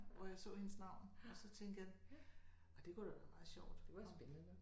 Hvor jeg så hendes navn og så tænkte jeg ej det kunne da være meget sjovt det kunne være spændende nok